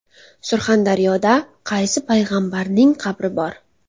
Surxondaryoda qaysi Payg‘ambarning qabri bor?.